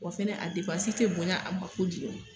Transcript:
Wa fɛnɛ a depansi te bonya a ma kojugun